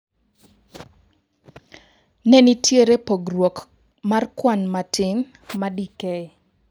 Ne nitiere Pogruok mar kwan matin, ma Dk.